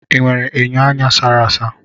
Ị nwere enyo anya a sara asa?